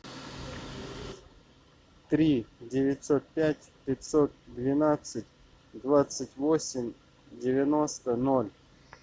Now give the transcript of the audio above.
три девятьсот пять пятьсот двенадцать двадцать восемь девяносто ноль